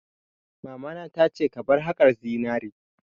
Mamana ta ce 'Ka bar haƙar zinari'!